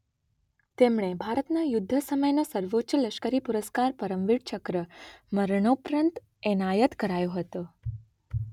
તેમને ભારતનો યુદ્ધ સમયનો સર્વોચ્ચ લશ્કરી પુરસ્કાર પરમવીર ચક્ર મરણોપરાંત એનાયત કરાયો હતો.